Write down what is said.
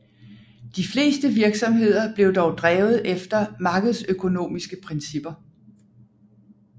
De fleste virksomheder blev dog drevet efter markedsøkonomiske principper